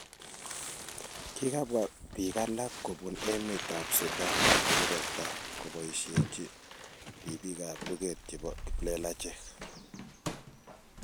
kikabwa biik alak kubun emet ab Sudan murotai koboishechi ribik ab luget chebo kiplelachek